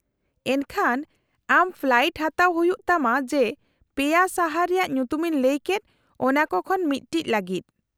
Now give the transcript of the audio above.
-ᱮᱱᱠᱷᱟᱱ ᱟᱢ ᱯᱷᱞᱟᱭᱤᱴ ᱦᱟᱛᱟᱣ ᱦᱩᱭᱩᱜ ᱛᱟᱢᱟ ᱡᱮ ᱯᱮᱭᱟ ᱥᱟᱦᱟᱨ ᱨᱮᱭᱟᱜ ᱧᱩᱛᱩᱢᱤᱧ ᱞᱟᱹᱭ ᱠᱮᱫ ᱚᱱᱟ ᱠᱚ ᱠᱷᱚᱱ ᱢᱤᱫᱴᱤᱡ ᱞᱟᱜᱤᱫ ᱾